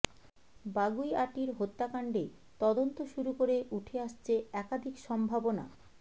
বাগুইআটির হত্যাকাণ্ডে তদন্ত শুরু করে উঠে আসছে একাধিক সম্ভাবনা